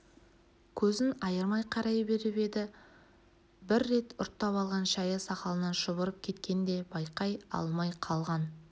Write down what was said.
көзін айырмай қарай беріп еді бір рет ұрттап алған шайы сақалынан шұбырып кеткенін де байқай алмай қалған